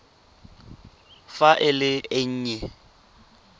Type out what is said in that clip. fa e le e nnye